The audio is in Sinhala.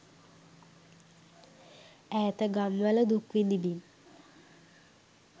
ඈත ගම්වල දුක් විදිමින්